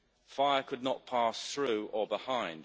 Fire could not pass through or behind.